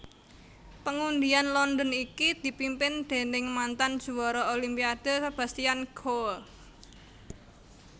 Pengundian London iki dipimpin déning mantan juwara Olimpiade Sebastian Coe